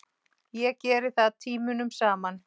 Ég geri það tímunum saman.